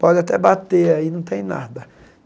Pode até bater aí, não tem nada.